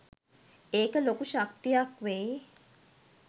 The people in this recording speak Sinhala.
ඒක ලොකු ශක්තියක් වෙයි